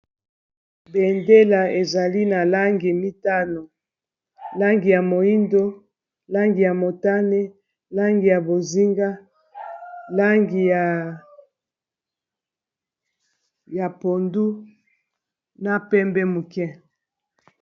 bendela ezali na langi mitano langi ya moindo langi ya motane langi ya bozinga langi ya pondu na pembe moke